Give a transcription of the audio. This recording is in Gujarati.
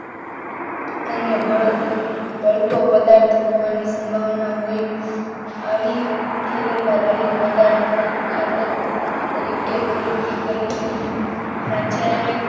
અન્ય પદાર્થોની સંભાવના હોય આવી થેલીમાં રહેલ પદાર્થની ખાતર તરીકે ખરીદી કરવી નહીં. રાસાયણિક,